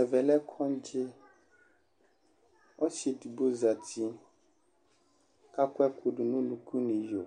Ɛvɛ lɛ kɔŋdzɩ Ɔsɩ edigbo zati kʋ akɔ ɛkʋ dʋ nʋ unuku nʋ iyo